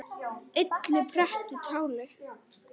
illu pretta táli.